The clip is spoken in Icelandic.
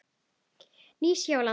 Nýja Sjáland